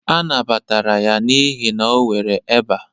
A nabatara ya n'ihi na o nwere eba